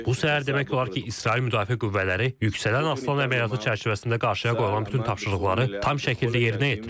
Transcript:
Bu o deməkdir ki, İsrail Müdafiə Qüvvələri yüksələn aslan əməliyyatı çərçivəsində qarşıya qoyulan bütün tapşırıqları tam şəkildə yerinə yetirib.